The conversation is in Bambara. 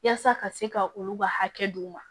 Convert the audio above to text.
Yaasa ka se ka olu ka hakɛ d'u ma